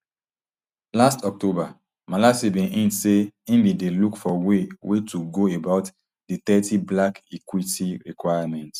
last october malatsi bin hint say im bin dey look for way way to go about di thirty black equity requirement